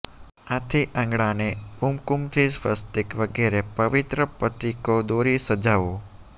આથી આંગણાને કુમકુમથી સ્વસ્તિક વગેરે પવિત્ર પ્રતીકો દોરી સજાવો